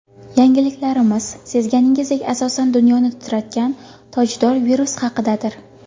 Yangiliklarimiz, sezganingizdek, asosan dunyoni titratgan tojdor virus haqidadir.